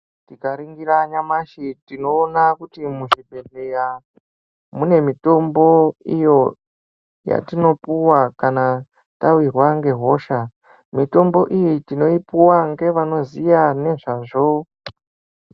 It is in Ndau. Tikaningira nyamashi tinoona kuti muzvibhedhleya mune mitombo iyo yatinopuwa kana tawirwa ngehosha . Mitombo iyi tinoipiwa ngevanoziya ngezvazvo.